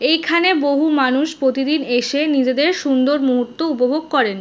এইখানে বহু মানুষ প্রতিদিন এসে নিজেদের সুন্দর মুহূর্ত উপভোগ করেন।